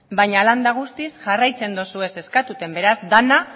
baina hala eta guztiz jarraitzen duzue eskatzen beraz dena